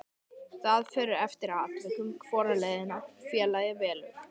Það fer eftir atvikum hvora leiðina félagið velur.